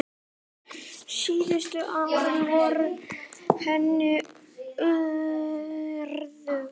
Síðustu árin voru henni örðug.